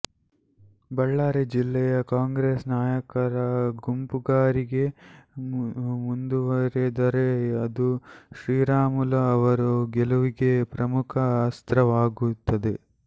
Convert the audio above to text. ಬಳ್ಳಾರಿ ಜಿಲ್ಲೆಯ ಕಾಂಗ್ರೆಸ್ ನಾಯಕರ ಗುಂಪುಗಾರಿಗೆ ಮುಂದುವರೆದರೆ ಅದು ಶ್ರೀರಾಮುಲು ಅವರ ಗೆಲುವಿಗೆ ಪ್ರಮುಖ ಅಸ್ತ್ರ ವಾಗುತ್ತದೆ